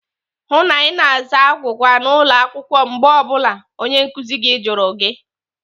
Hụụ na Ị na-aza agwụgwa n'ụlọ akwụkwọ mgbe ọ bụla onye nkụzi gị jụrụ gị!